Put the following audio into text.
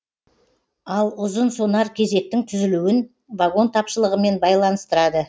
ал ұзын сонар кезектің түзілуін вагон тапшылығымен байланыстырады